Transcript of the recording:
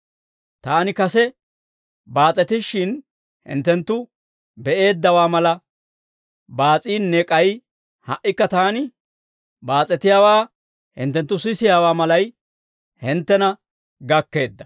Taani kase baas'etishshin hinttenttu be'eeddawaa mala baas'iinne k'ay ha"ikka taani baas'etiyaawaa hinttenttu sisiyaawaa malay hinttena gakkeedda.